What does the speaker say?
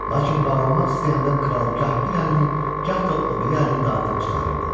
Lakin bağlamaq istəyəndə kral gah bir əlini, gah da o biri əlini dartıb çıxarırdı.